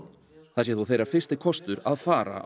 það sé þó þeirra fyrsti kostur að fara